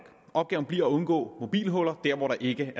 opgaven bliver at undgå mobilhuller der hvor der ikke